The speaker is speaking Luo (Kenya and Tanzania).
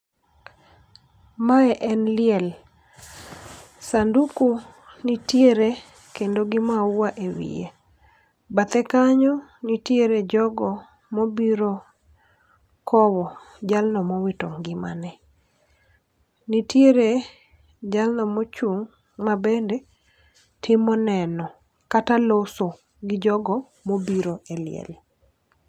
Mae en liel, sanduku nitiere kendo gi maua e wiye, bathe kanyo nitiere jogo mobiro kowo jalno mowito ngimane. Nitiere jalno mochung' mabende timo neno kata loso gi jogo mobiro e liel.